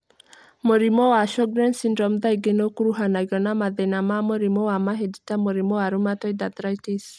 Mũrimũ wa Sjorgen's syndrome thaingĩ nĩ ũkuruhanagio na mathina ma mũrimũ wa mahĩndĩ ta mũrimũ wa rheumatoid arthritis.